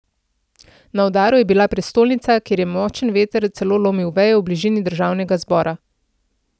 Na udaru je bila prestolnica, kjer je močan veter celo lomil veje v bližini državnega zbora.